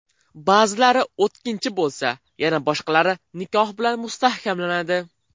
Ba’zilari o‘tkinchi bo‘lsa, yana boshqalari nikoh bilan mustahkamlanadi.